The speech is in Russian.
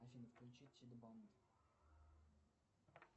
афина включи